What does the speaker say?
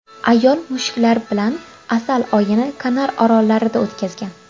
Ayol mushuklari bilan asal oyini Kanar orollarida o‘tkazgan.